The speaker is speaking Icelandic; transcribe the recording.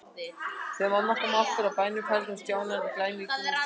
Þegar mamma kom aftur úr bænum færði hún Stjána glæný gúmmístígvél.